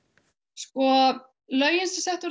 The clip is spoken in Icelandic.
sko lögin sem sett voru